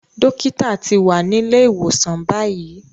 Dókítà ti wà nílé ìwòsàn báyìí.